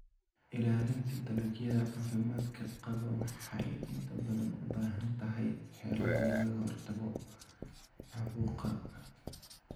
Ilaalinta dalagyada caafimaadka qaba waxay inta badan u baahan tahay xeelado lagaga hortagayo caabuqa.